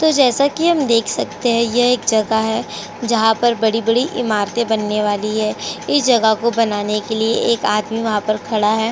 तो जैसा कहीं हमें देख सकते हैं। यह जगह है। जहाँ बड़ी-बड़ी इमारतें बनने वाली है। इस जगह को बनाने के लिए एक आदमी वहाँ खड़ा है।